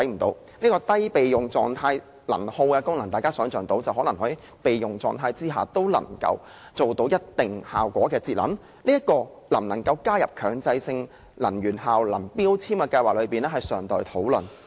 "低備用狀態能耗"功能意味電器在備用狀態下，也能夠做到一定的節能效果，這能否納入強制性標籤計劃中尚待討論。